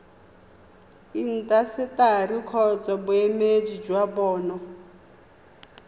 intaseteri kgotsa boemedi jwa bona